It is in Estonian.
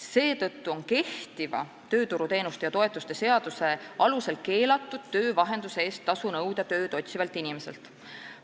Seetõttu on kehtiva tööturuteenuste ja -toetuste seaduse alusel keelatud nõuda töövahenduse eest tasu tööd otsivalt inimeselt.